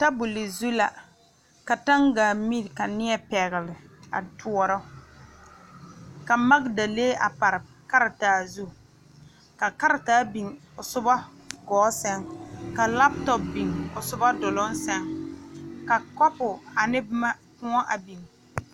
Noba la are sola zie na ba ha kpɛlɛm hɔgele la zupile naŋ e buluu ba yaga zie ba eŋ nyɔboo bompɔgeraa dɔɔ kaŋ su la kpar pelaa ane kuri pelaa o su hɔgele la zupili sɔglaa